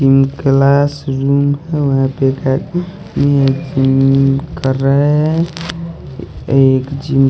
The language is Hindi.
जिम क्लासरूम वहां पे एक जिम कर रहे हैं एक जिम --